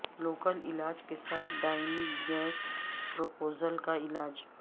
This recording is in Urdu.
لوکل علاج کے ساتھ دائمی گیس پروپوزل کا علاج